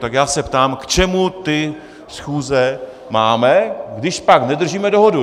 Tak já se ptám, k čemu ty schůze máme, když pak nedržíme dohodu.